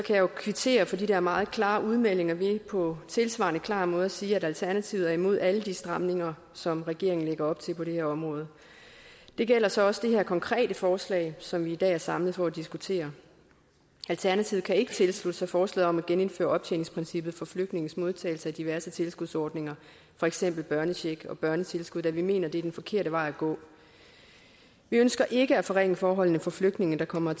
jeg jo kvittere for de der meget klare udmeldinger ved på tilsvarende klar måde at sige at alternativet er imod alle de stramninger som regeringen lægger op til på det her område det gælder så også det her konkrete forslag som vi i dag er samlet for at diskutere alternativet kan ikke tilslutte sig forslaget om at genindføre optjeningsprincippet for flygtninges modtagelse af diverse tilskudsordninger for eksempel børnecheck og børnetilskud da vi mener at det er den forkerte vej at gå vi ønsker ikke at forringe forholdene for flygtninge der kommer